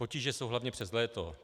Potíže jsou hlavně přes léto.